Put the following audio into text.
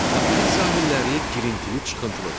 Materik sahilləri girintili çıxıntılıdır.